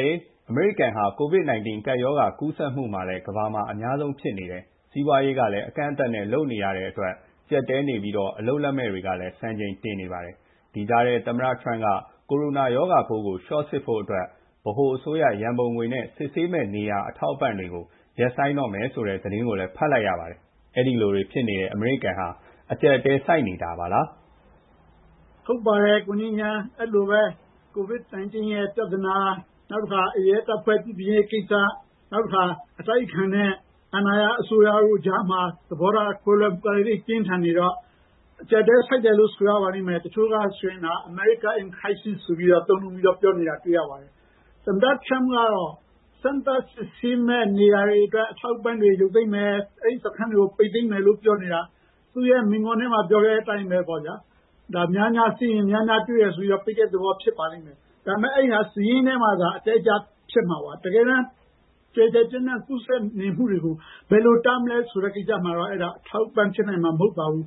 ယ် ရေ အမေရိကန်ဟာ COVID ကပ်ရောဂါကူးစက်မှုကလည်း ကမ္ဘာမှာ အများဆုံးဖြစ်နေတယ်။ စီးပွားရေး ကလည်း အကန့်အသတ်နဲ့ လုပ်နေရတဲ့အတွက် ကျပ်တည်းနေပြီးတော့ အလုပ်လက်မဲ့တွေကလည်း စံချိန်တင်နေပါတယ်။ ဒီကြားထဲ သမ္မတထရမ့်က ကိုရိုနာ ရောဂါပိုးကို လျှော့စစ်ဖို့အတွက် ဗဟိုအစိုးရ ရန်ပုံငွေ နဲ့ စစ်ဆေးမယ့်နေရာ အထောက်အပံ့တွေကို ရပ်ဆိုင်းတော့မယ်ဆိုတဲ့ သတင်းကိုလည်း ဖတ်လိုက်ရပါတယ်။ အဲ့ဒီလိုတွေဖြစ်နေတဲ့ အမေရိကန်ဟာ အကျပ်အတည်းဆိုက်နေတာလား။ ဟုတ်ပါတယ် ကိုငြိမ်းချမ်း COVID-19 ပြဿနာ ၊ ရဲတပ်ဖွဲ့ပြုပြင်ရေးကိစ္စ ၊ နောက်တခါ အတိုက်အခံနဲ့ အာဏာရ အစိုးရတို့ကြားမှာ သဘောထားကွဲလွဲမှုတွေ ပြင်းထန်နေတော့ အကျပ်အတည်း ဆိုက်တယ်လို့ ဆိုရပါမယ်။ တချို့က “America in Crisis” လို့ သုံးနှုန်းပြောနေတာ တွေ့ရပါတယ်။ သမ္မတထရမ့်ကတော့ စမ်းသပ်စစ်ဆေးမယ့် နေရာတွေအတွက် အထောက်အပံ့တွေကို ရုပ်သိမ်းမယ်၊ အဲဒီ စခန်းတွေကို ပိတ်သိမ်းမယ်လို့ ပြောနေတာ သူ့မိန့်ခွန်းထဲမှာ ပြောခဲ့တဲ့အတိုင်းပေါ့ဗျာများများစစ်ရင် များများတွေ့မယ် ဆိုတော့ ပိတ်တဲ့သဘော ဖြစ်ပါလိမ့်မယ်။ ဒါပေမယ့် အဲဒါ စာရင်းထဲမှာ အတက်အကျ ဖြစ်မှာပါ ၊ တကယ်တမ်း ကျယ်ကျယ်ပြန့်ပြန့် ကူးစက်နေမှုတွေကို ဘယ်လိုတားမလဲဆိုတာမှာတော့ အဲဒါ အထောက်အပံ့ဖြစ်မှာ မဟုတ်ပါဘူး